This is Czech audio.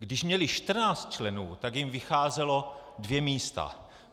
Když měli 14 členů, tak jim vycházela dvě místa.